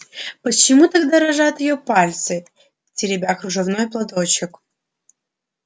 почему так дрожат её пальцы теребя кружевной платочек